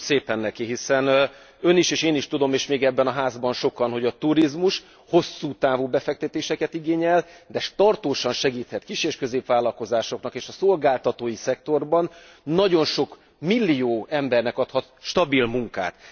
Köszönöm szépen neki, hiszen Ön is én is tudom, és még ebben a házban sokan, hogy a turizmus hosszú távú befektetéseket igényel, de tartósan segíthet kis és középvállalkozásoknak, és a szolgáltatói szektorban nagyon sok millió embernek adhat stabil munkát.